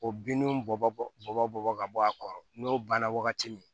O bininw bɔ bɔ bɔ bɔ ka bɔ a kɔrɔ n'o banna wagati min